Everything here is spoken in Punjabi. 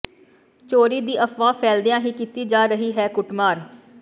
ਚੋਰੀ ਦੀ ਅਫਵਾਹ ਫੈਲਦਿਆਂ ਹੀ ਕੀਤੀ ਜਾ ਰਹੀ ਹੈ ਕੁੱਟਮਾਰ